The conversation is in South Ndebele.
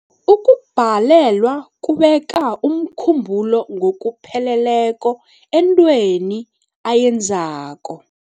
Ukubhalelwa kubeka umkhumbulo ngokupheleleko entweni ayenzako.